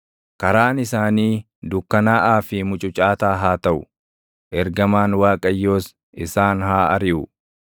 Karaan isaanii dukkanaaʼaa fi mucucaataa haa taʼu; ergamaan Waaqayyoos isaan haa ariʼu.